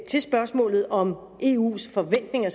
spørgsmålet om eus forventninger